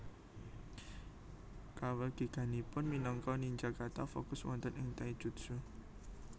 Kawegiganipun minangka ninja kathah fokus wonten ing taijutsu